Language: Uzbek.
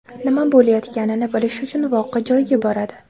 nima bo‘layotganini bilish uchun voqea joyiga boradi.